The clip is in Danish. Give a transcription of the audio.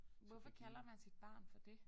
Hvorfor kalder man sit navn for det?